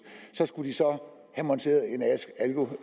skulle de så have monteret